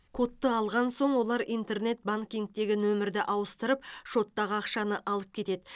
кодты алған соң олар интернет банкингтегі нөмірді ауыстырып шоттағы ақшаны алып кетеді